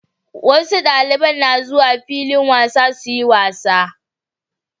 Wasu daliban na zuwa filin wasa suyi wasa